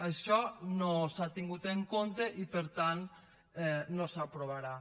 això no s’ha tingut en compte i per tant no s’aprovarà